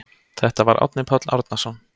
Þetta var Árni Páll Árnason.